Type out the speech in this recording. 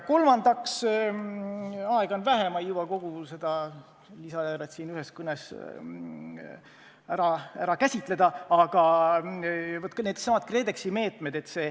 Kolmandaks – aega on vähe, ma ei jõua kogu seda lisaeelarvet siin ühes kõnes käsitleda –, aga needsamad KredExi meetmed.